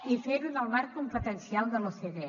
i a fer ho en el marc competencial de l’ocde